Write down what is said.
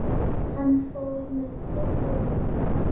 Hann fór með Þuru og